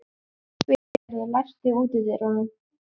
Vilgerður, læstu útidyrunum.